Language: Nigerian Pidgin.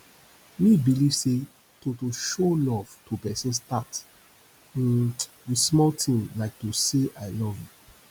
me believe say to to show love to pesin start um with small ting like to say i love you